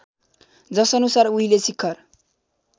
जसअनुसार उहिले शिखर